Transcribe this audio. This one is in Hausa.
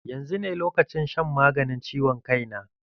Yanzu ne lokacin shan maganin ciwon kai na.